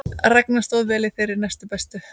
Ragna stóð vel í þeirri næstbestu